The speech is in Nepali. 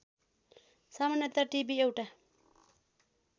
सामान्यतया टिभि एउटा